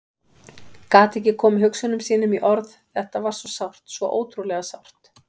Gat ekki komið hugsunum sínum í orð, þetta var svo sárt, svo ótrúlega sárt.